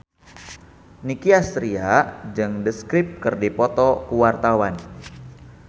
Nicky Astria jeung The Script keur dipoto ku wartawan